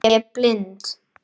Ég blind